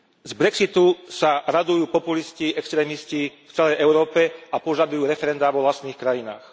Z Brexitu sa radujú populisti, extrémisti v celej Európe a požadujú referendá vo vlastných krajinách.